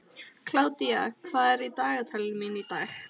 Kládía, hvað er í dagatalinu mínu í dag?